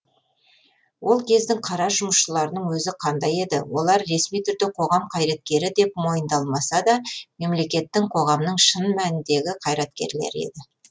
ол кездің қара жұмысшыларының өзі қандай еді олар ресми түрде қоғам қайраткері деп мойындалмаса да мемлекеттің қоғамның шын мәніндегі қайраткерлері еді